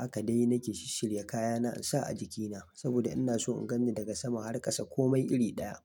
Haka dai nake shi shirya kayana in sa a jikina saboda ina so in gani daga sama har kasa komai iri ɗaya.